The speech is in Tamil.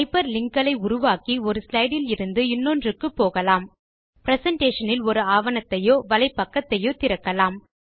ஹைப்பர் லிங்க் களை உருவாக்கி ஒரு ஸ்லைடு இலிருந்து இன்னொன்றுக்கு போகலாம் பிரசன்டேஷன் இல் ஒரு ஆவணத்தையோ வலைப்பக்கத்தையோ திறக்கலாம்